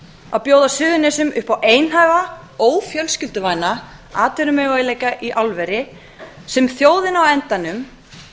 að bjóða suðurnesjum upp á einhæfa ófjölskylduvæna atvinnumöguleika í álveri sem þjóðin á endanum